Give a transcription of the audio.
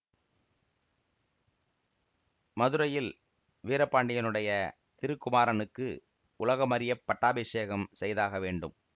மதுரையில் வீரபாண்டியனுடைய திருக்குமாரனுக்கு உலகமறியப் பட்டாபிஷேகம் செய்தாக வேண்டும்